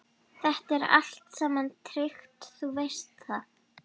Þetta er allt saman tryggt, þú veist það.